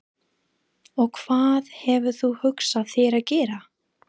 Og hvað hefur þú hugsað þér að gera?